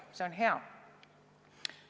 See on hea.